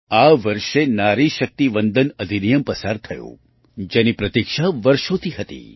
આ વર્ષે નારી શક્તિ વંદન અધિનિયમ પસાર થયું જેની પ્રતીક્ષા વર્ષોથી હતી